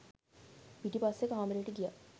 පිටිපස්සෙ කාමරේට ගියා